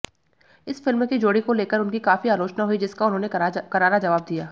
इस फिल्म की जोड़ी को लेकर उनकी काफी आलोचना हुई जिसका उन्होंने करारा जवाब दिया